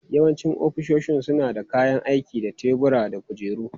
Yawancin ofisoshin suna da kayan aiki da tebura da kujeru.